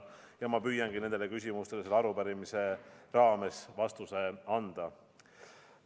Ja ma püüangi nendele küsimustele selle arupärimise raames vastuse anda.